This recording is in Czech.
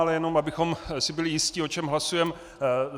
Ale jenom abychom si byli jisti, o čem hlasujeme.